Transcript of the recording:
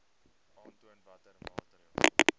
aantoon watter maatreëls